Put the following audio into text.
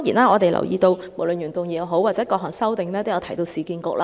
我們留意到，原議案和各項修正案都提到市區重建局。